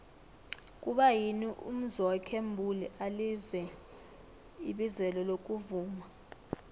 kuba yini umzwokhe mbuli alize ibizelo lokuvuma